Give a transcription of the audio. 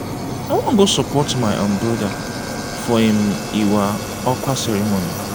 i wan go support my um broda for im iwa akwa ceremony.